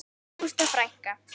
Ágústa frænka.